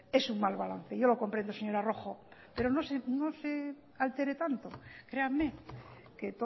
es un mal balance yo lo comprendo señora rojo pero no se altere tanto créanme que